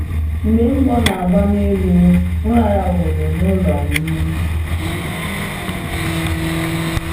Mgbe mgbọ na-agba n’elu, m raraworo n’ụlọ m.